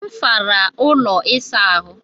M sara ụlọ ịsa ahụ.